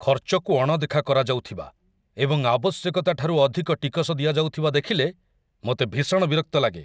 ଖର୍ଚ୍ଚକୁ ଅଣଦେଖା କରାଯାଉଥିବା ଏବଂ ଆବଶ୍ୟକତାଠାରୁ ଅଧିକ ଟିକସ ଦିଆଯାଉଥିବା ଦେଖିଲେ ମୋତେ ଭୀଷଣ ବିରକ୍ତ ଲାଗେ।